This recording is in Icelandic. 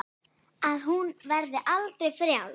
Að hún verði aldrei frjáls.